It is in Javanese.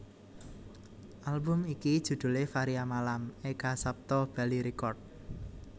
Album iki judhulé Varia Malam Eka Sapta Bali Records